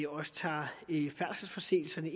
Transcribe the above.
også tager færdselsforseelserne